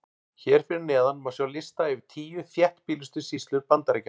Hér fyrir neðan má sjá lista yfir tíu þéttbýlustu sýslur Bandaríkjanna.